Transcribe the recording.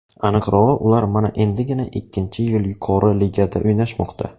Aniqrog‘i, ular mana endigina ikkinchi yil yuqori ligada o‘ynashmoqda.